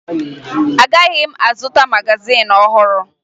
Agaghị m azụta magazin ọhụrụ